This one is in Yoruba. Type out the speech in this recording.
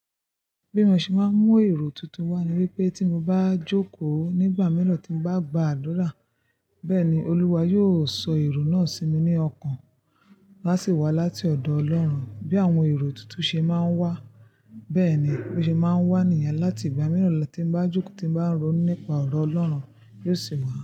Bí mo ṣe máa ń mú èrò tuntun wá ni wípé tí mo bá jókòó nígbà mìíràn tí bá gba àdura, bẹ́ẹ̀ ni Olúwa yiò sọ èrò náà sí mi ní ọkàn, lá sì wá láti ọ̀dọ̀ Ọlọ́run bí àwọn èrò tuntun ṣe máa ń wá. Bẹ́ẹ̀ ni bo se máa n wá ní ìyẹn, láti ìgbà mìíràn tí mo bá jókòó tí mo bá ń ronú nípa ọ̀rọ̀ Ọlọ́run, yiò sì wá.